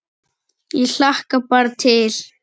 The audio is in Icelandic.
Ég hlakka bara til